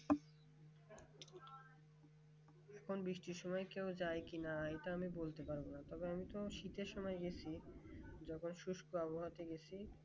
এখন বৃষ্টির সময় কেউ যায় কিনা এটা আমি বলতে পারব না তবে আমি তো শীতের সময় গেছি যখন শুষ্ক আবহাওয়া তে গিয়েছি